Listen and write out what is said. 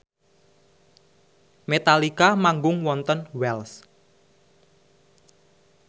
Metallica manggung wonten Wells